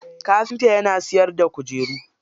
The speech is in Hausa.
Kafinta yana siyarda kujeru.